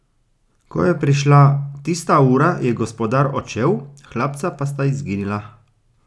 Ko je prišla tista ura, je gospodar odšel, hlapca pa sta izginila.